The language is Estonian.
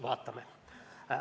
Vaatame.